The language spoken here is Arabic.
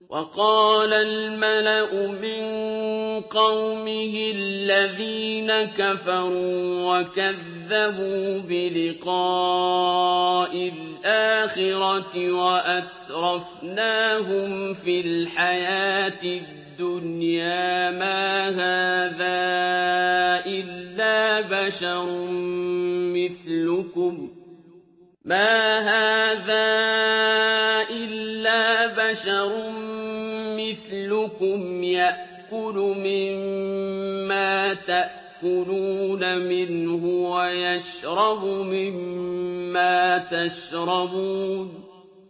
وَقَالَ الْمَلَأُ مِن قَوْمِهِ الَّذِينَ كَفَرُوا وَكَذَّبُوا بِلِقَاءِ الْآخِرَةِ وَأَتْرَفْنَاهُمْ فِي الْحَيَاةِ الدُّنْيَا مَا هَٰذَا إِلَّا بَشَرٌ مِّثْلُكُمْ يَأْكُلُ مِمَّا تَأْكُلُونَ مِنْهُ وَيَشْرَبُ مِمَّا تَشْرَبُونَ